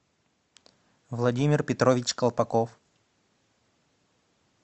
владимир петрович колпаков